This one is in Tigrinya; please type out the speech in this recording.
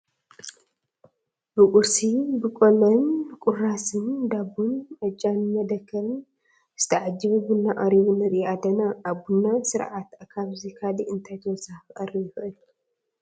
ብቁርሲ፣ ብቆሎን ቁርስራስ ዳቦን ዕጫን መደከርን ዝተዓጀበ ቡና ቀሪቡ ንርኢ ኣለና፡፡ ኣብ ቡና ስርዓት ካብዚ ካልእ እንታይ ተወሳኺ ክቐርብ ይኽእል?